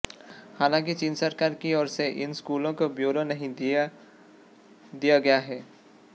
हालांकि चीन सरकार की ओर से इन शुल्कों का ब्योरा नहीं दिया दिय गया है